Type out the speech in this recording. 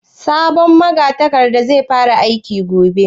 Sabon magatakardan zai fara aiki gobe?